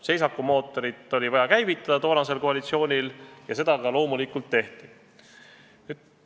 Seisakumootorit oli toonasel koalitsioonil vaja käivitada ja seda ka loomulikult tehti.